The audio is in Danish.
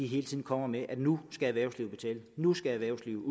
hele tiden kommer med nu skal erhvervslivet betale nu skal erhvervslivet